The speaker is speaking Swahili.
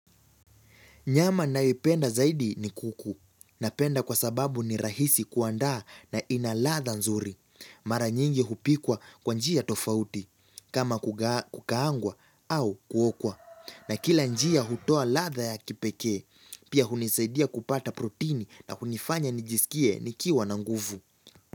Nyama naipenda zaidi ni kuku. Napenda kwa sababu ni rahisi kuandaa na ina ladha nzuri. Mara nyingi hupikwa kwa njia tofauti. Kama kukaangwa au kuokwa. Na kila njia hutoa ladha ya kipekee. Pia hunisaidia kupata protini na hunifanya nijisikie nikiwa na nguvu.